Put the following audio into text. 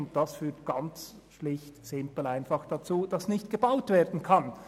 Dies führt schlicht und einfach dazu, dass nicht gebaut werden kann.